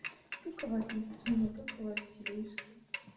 как у вас настроение как у вас дела